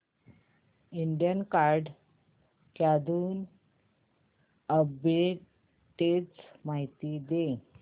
Indian card clothing arbitrage माहिती दे